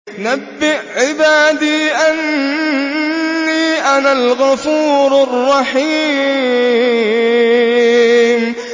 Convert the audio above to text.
۞ نَبِّئْ عِبَادِي أَنِّي أَنَا الْغَفُورُ الرَّحِيمُ